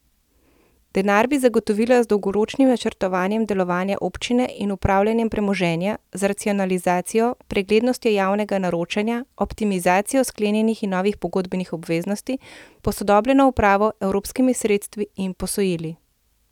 Denar bi zagotovila z dolgoročnim načrtovanjem delovanja občine in upravljanjem premoženja, z racionalizacijo, preglednostjo javnega naročanja, optimizacijo sklenjenih in novih pogodbenih obveznosti, posodobljeno upravo, evropskimi sredstvi in posojili.